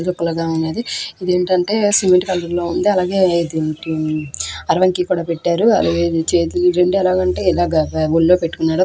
లాగా ఉన్నది ఇది ఏంటంటే సిమెంట్ కలర్ లో ఉంది అలాగే దీం టిమ్ కీ కూడా పెట్టారు చేతులు రెండు ఎలాగంటే ఇలాగ పై ఒళ్ళో పెట్టుకున్నాడు.